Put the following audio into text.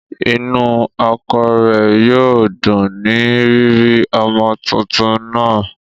Inú ọkọ rẹ̀ yóò dùn ní rírí ọmọ tuntun náà